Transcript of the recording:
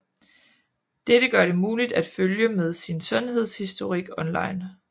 Dette gør det muligt at følge med sin sundhedshistorik online